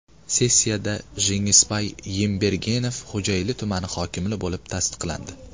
Sessiyada Jengisbay Yembergenov Xo‘jayli tumani hokimi bo‘lib tasdiqlandi.